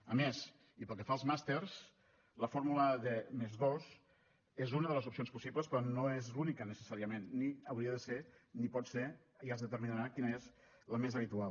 a més i pel que fa als màsters la fórmula de +dos és una de les opcions possibles però no és l’única necessàriament ni hauria de ser ni pot ser i es determinarà quina és la més habitual